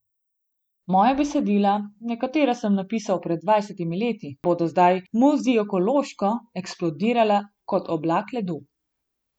Moja besedila, nekatera sem napisal pred dvajsetimi leti, bodo zdaj muzikološko eksplodirala kot oblak ledu.